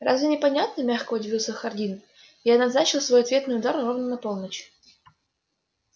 разве непонятно мягко удивился хардин я назначил свой ответный удар ровно на полночь